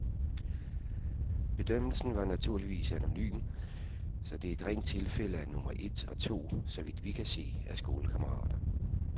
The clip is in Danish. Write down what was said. Bedømmelsen var naturligvis anonym, så det er et rent tilfælde, at nummer et og to , så vidt vi kan se, er skolekammerater.